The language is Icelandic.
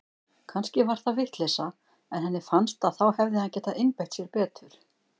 Kannski var það vitleysa en henni fannst að þá hefði hann getað einbeitt sér betur.